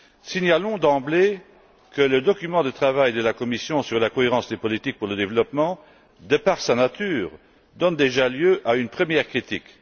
Signalons d'emblée que le document de travail de la Commission sur la cohérence des politiques pour le développement, de par sa nature, donne déjà lieu à une première critique.